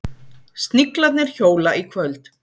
Sniglarnir hjóla í kvöld